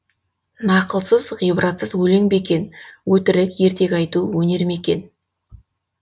нақылсыз ғибратсыз өлең бе екен өтірік ертегі айту өнер ме екен